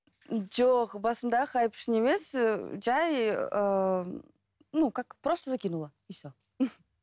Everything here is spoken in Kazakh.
жоқ басында хайп үшін емес жай ыыы ну как просто закинула и все